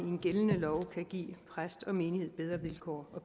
gældende lov kan give præst og menighed bedre vilkår og